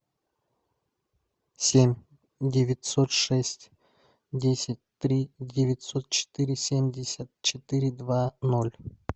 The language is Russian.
семь девятьсот шесть десять три девятьсот четыре семьдесят четыре два ноль